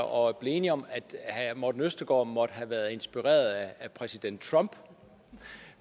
og blev enige om at herre morten østergaard måtte have været inspireret af præsident trump